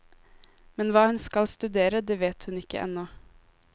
Men hva hun skal studere, det vet hun ikke ennå.